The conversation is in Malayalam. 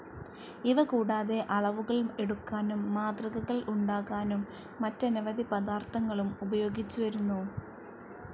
ഇവ കൂടാതെ അളവുകൾ എടുക്കാനും മാതൃകകൾ ഉണ്ടാകാനും മറ്റനവധി പദാർത്ഥങ്ങളും ഉപയോഗിച്ചുവരുന്നു.